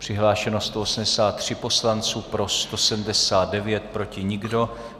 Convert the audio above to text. Přihlášeni 183 poslanci, pro 179, proti nikdo.